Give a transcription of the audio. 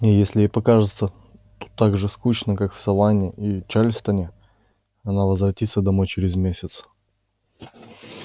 и если ей покажется тут так же скучно как в саванне и чарльстоне она возвратится домой через месяц